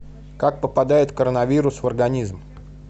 как попадает коронавирус в организм